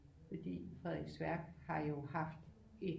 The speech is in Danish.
Fordi Frederiksværk har jo haft et